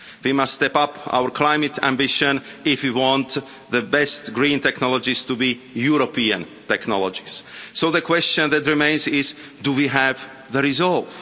We must step up our climate ambition if we want the best green technologies to be European technologies. So the question that remains is do we have the resolve?